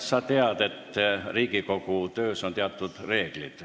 Sa tead, et Riigikogu töös on teatud reeglid.